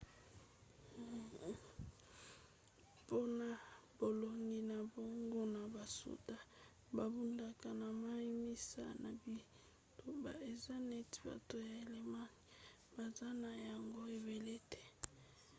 mpona bolongi na bango na basoda babundaka na mai nsima ya bitumba eza neti bato ya allemagne baza na yango ebele te